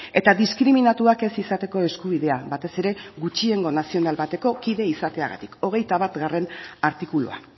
eta diskriminatuak ez izateko eskubidea batez ere gutxiengo nazional bateko kide izateagatik hogeita batgarrena artikulua